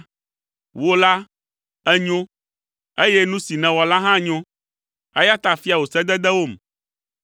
Wò la, ènyo, eye nu si nèwɔ la hã nyo, eya ta fia wò sededewom.